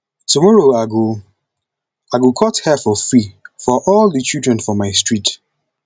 tomorrow i go i go cut hair for free for all di children for my street